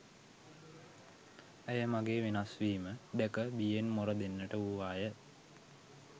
ඇය මගේ වෙනස්වීම දැක බියෙන් මොර දෙන්නට වූවාය